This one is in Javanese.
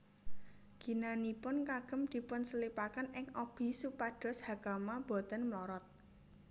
Ginanipun kagem dipunselipaken ing obi supados hakama boten mlorot